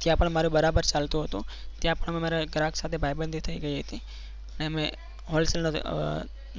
ત્યાં પણ મારું બરાબર ચાલતું હતું ત્યાં પણ મારે ઘરાક સાથે ભાઈબંધી થઈ ગઈ હતી અને મેં હોલસેલ